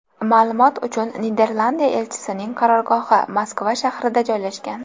Ma’lumot uchun, Niderlandiya elchisining qarorgohi Moskva shahrida joylashgan.